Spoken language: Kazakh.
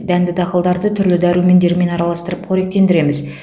дәнді дақылдарды түрлі дәрумендермен араластырып қоректендіреміз